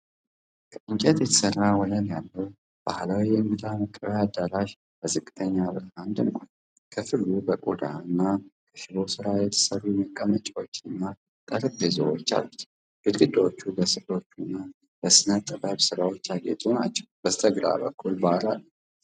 ከእንጨት የተሠራ ወለል ያለው ባህላዊ የእንግዳ መቀበያ አዳራሽ በዝቅተኛ ብርሃን ደምቋል። ክፍሉ ከቆዳና ከሽቦ ስራ የተሠሩ መቀመጫዎችና ጠረጴዛዎች አሉት። ግድግዳዎቹ በስዕሎችና በስነ ጥበብ ስራዎች ያጌጡ ናቸው፣ በስተግራ በኩል ባር አለ።